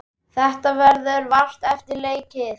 Þetta verður vart eftir leikið.